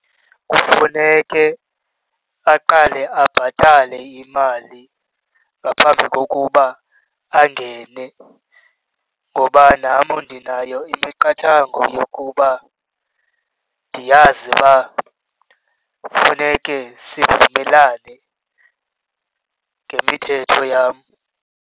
Kufuneke aqale abhatale imali ngaphambi kokuba angene, ngoba nam ndinayo imiqathango yokuba ndiyazi uba funeke sivumelane ngemithetho yam.